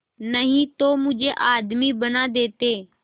नहीं तो मुझे आदमी बना देते